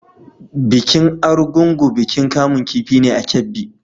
Bikin Argungu bikin kamun kifi ne a Kebbi.